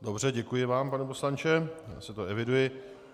Dobře, děkuji vám, pane poslanče, já si to eviduji.